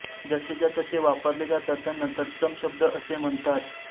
जसेच्या तसे वापरले जातात त्यांना तत्सम शब्द असे म्हणतात